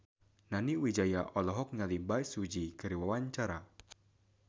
Nani Wijaya olohok ningali Bae Su Ji keur diwawancara